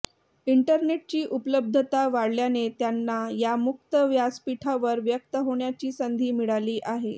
इंटरनेटची उपलब्धता वाढल्याने त्यांना या मुक्त व्यासपीठावर व्यक्त होण्याची संधी मिळाली आहे